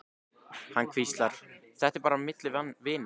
Hann hvíslar, þetta er bara milli vina.